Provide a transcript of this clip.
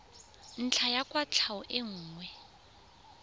ntlha ya kwatlhao e nngwe